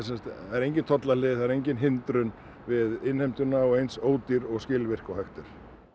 engin tollahlið engin hindrun við innheimtuna og eins ódýrt og skilvirkt og hægt er